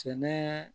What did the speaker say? Sɛnɛ